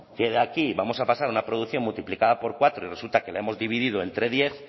que de aquí vamos a pasar una producción multiplica por cuatro y resulta que la hemos dividido entre diez